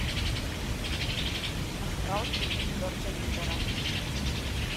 астрал три джорджа миллера